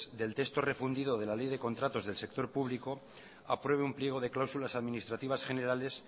del texto refundido de la ley de contratos del sector público apruebe un pliego de cláusulas administrativas generales